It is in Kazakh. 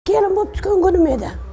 келін боп түскен күнім еді